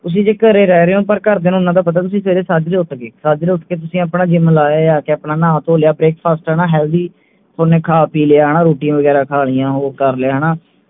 ਤੁਸੀਂ ਜੇ ਘਰੇ ਰਹਿ ਰਹੇ ਹੋਂ ਪਰ ਘਰ ਦੀਆਂ ਨੂੰ ਇੰਨਾ ਤਾ ਪਤਾ ਵੀ ਸਵੇਰੇ ਤੁਸੀਂ ਉੱਠ ਗਏ ਉੱਠ ਕੇ ਤੁਸੀਂ ਆਪਣਾ gym ਲਾ ਆਏ ਆਕੇ ਤੁਸੀਂ ਆਪਣਾ ਨਹਾ ਧੋ ਲਿਆ breakfast ਕਰਨਾ healthy ਨੇ ਖਾ ਪੀ ਲਿਆ ਹਣਾ ਰੋਟੀਆਂ ਵਗੈਰਾ ਖਾ ਲਿਆਂ ਹੋਰ ਕਰ ਲਿਆ ਹਣਾ